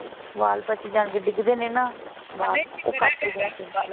ਵਾਲ ਬੱਚ ਜਾਣਗੇ ਡਿੱਗਦੇ ਦੇ ਨੀ ਨਾ। ਉਹ ਘੱਟ ਹੋ ਜਾਣਗੇ।